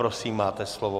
Prosím, máte slovo.